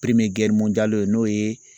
n'o ye